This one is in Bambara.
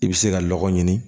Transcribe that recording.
I bɛ se ka lɔgɔ ɲini